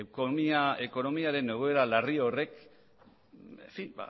ekonomiaren egoera larri horrek